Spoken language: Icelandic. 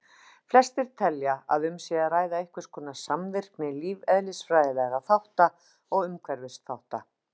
Flestir telja að um sé að ræða einhverskonar samvirkni lífeðlisfræðilegra þátta og umhverfisþátta.